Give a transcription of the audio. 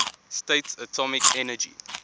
states atomic energy